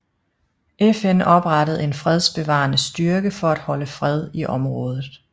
FN oprettede en fredsbevarende styrke for at holde fred i området